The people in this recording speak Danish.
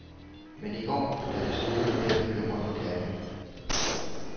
Men i går, da det sneede, blev jeg bekymret for katten.